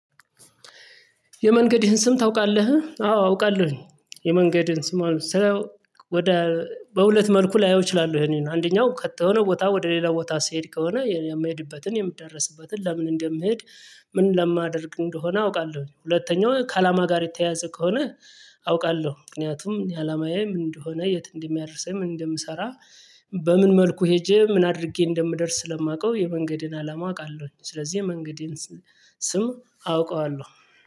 የመንገድህን ስም ታውቃለህ? አዎ አውቃለሁኝ። የመንገድህን ስም ወደ በሁለት መልኩ ላየው እችላለሁ ይሄንን አንደኛው ቀተ ከሆነ ቦታ ወደ ሌላ ቦታ ስሄድ ከሆነ የምሄድበትን የምዳረስበትን ለምን እንደምሄድ ምን ለማደርግ እንደሆነ አውቃለሁ። ሁለተኛው ከአላማ ጋር የተያያዘ ከሆነ አውቃለሁ ምክንያቱም ያአላማዬ ምን እንደሆነ የት እንደሚያደርሰኝ ምን እንደምሰራ። በምን መልኩ ሄጄ ምን አድርጌ እንደምደርስ ስለማውቀው የመንገዴን አላማ አውቃለሁ። ስለዚህ የመንገዴን ስም አውቀዋለሁ